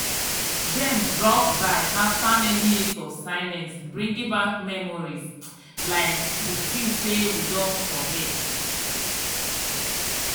dem drop by after many years of silence bringing back memories um we think say we don forget.